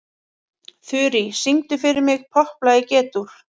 Þurý, syngdu fyrir mig „Popplag í G-dúr“.